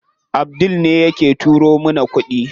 Abdul ne yake turo mana kuɗi.